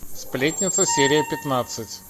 сплетница серия пятнадцать